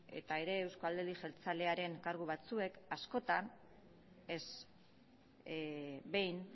eta ere euzko alderdi jeltzalearen kargu batzuek askotan ez behin